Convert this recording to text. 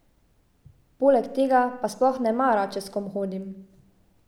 Poleg tega pa sploh ne mara, če s kom hodim.